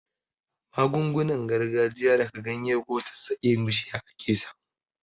Magungunan gargajiya daga ganye ko sassaken bishiya ake samu.